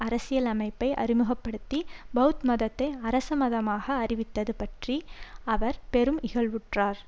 அரசியலமைப்பை அறிமுக படுத்தி பெளத் மதத்தை அரசமதமாக அறிவித்தது பற்றி அவர் பெரும் இகழ்வுற்றார்